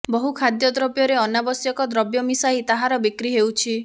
ବହୁ ଖାଦ୍ୟଦ୍ରବ୍ୟରେ ଅନାବଶ୍ୟକ ଦ୍ରବ୍ୟ ମିଶାଇ ତାହାର ବିକ୍ରି ହେଉଛି